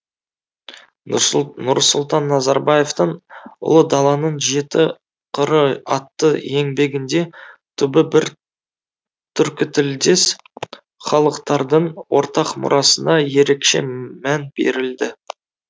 нұрсұлтан назарбаевтың ұлы даланың жеті қыры атты еңбегінде түбі бір түркітілдес халықтардың ортақ мұрасына ерекше мән берілді